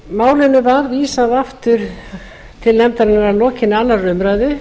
málinu var vísað aftur til nefndarinnar að lokinni annarri umræðu